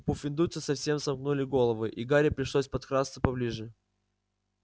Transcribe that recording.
пуффендуйцы совсем сомкнули головы и гарри пришлось подкрасться поближе